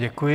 Děkuji.